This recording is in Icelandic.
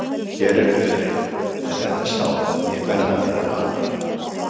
Hér er örin en þetta sár mun verða mér að bana.